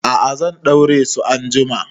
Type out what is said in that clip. A'a, zan ɗaure su anjima.